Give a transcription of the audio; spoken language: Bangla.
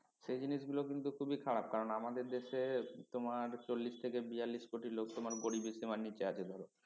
সেই জিনিসগুলো কিন্তু খুবই খারাপ কারণ আমাদের দেশে তোমার চল্লিশ থেকে বিয়াল্লিশ কোটি লোক তোমার গরিবী সীমার নিচে আছে ধরো